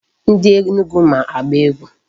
Ndị Enugu ma agba egwu.